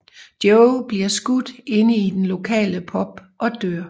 Joe bliver skudt inde i den lokale pub og dør